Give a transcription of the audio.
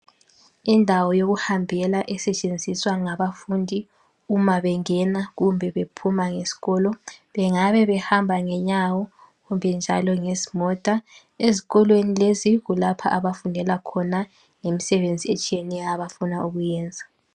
Indawo yokuhambela esetshenziswa ngabafundi uma bengena kumbe bephuma esikolo bengabe bahamba ngenyawo kumbe ngezimota. Ezikolweni lezi kulapha abafundela khona ngemisebenzi etshiyeneyo abafuna ukuyenza.